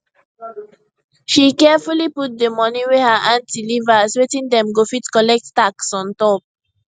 she carefully put di money wey her auntie leave her as wetim dem go fit collect tax on top